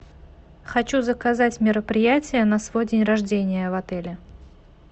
хочу заказать мероприятие на свой день рождения в отеле